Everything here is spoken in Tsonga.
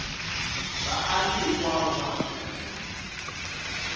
vaaki hinkwavo va afrika dzonga